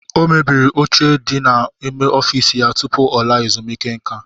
O mebiri oche di n'ime ọfiisi ya tupu ọ laa ezumiike nka.